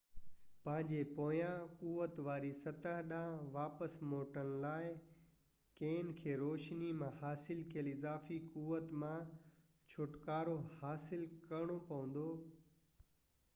پنهنجي پوئين قوت واري سطح ڏانهن واپس موٽڻ لاءِ کين کي روشني مان حاصل ڪيل اضافي قوت مان ڇوٽڪارو حاصل ڪرڻو پوندو